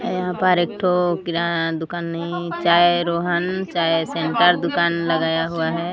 यहां पर एक तो किराना दुकान नहीं चाय रोहन चाय सेंटर दुकान लगाया हुआ हैं।